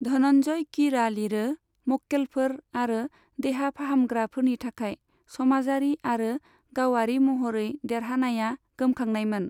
धनन्जय कीरआ लिरो, मक्केलफोर आरो देहा फाहामग्राफोरनि थाखाय, समाजारि आरो गावारि महरै, देरहानाया गोमखांनायमोन।